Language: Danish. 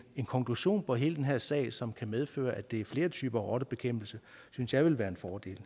konklusion på hele den her sag som kan medføre at det kan være flere typer af rottebekæmpelse synes jeg vil være en fordel